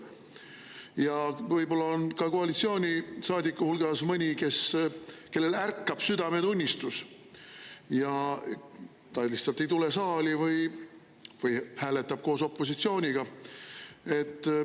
Ja võib-olla on ka koalitsioonisaadikute hulgas mõni, kellel ärkab südametunnistus, ja ta lihtsalt ei tule saali või hääletab koos opositsiooniga.